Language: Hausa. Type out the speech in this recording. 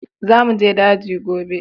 Za mu je daji gobe!